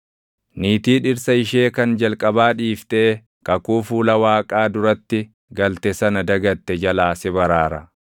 niitii dhirsa ishee kan jalqabaa dhiiftee kakuu fuula Waaqaa duratti galte sana dagatte jalaa si baraara.